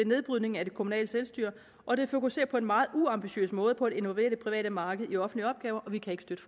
nedbrydning af det kommunale selvstyre og det fokuserer på en meget uambitiøs måde på at innovere det private marked i offentlige opgaver og vi kan ikke støtte